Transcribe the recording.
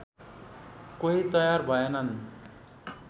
कोही तयार भएनन्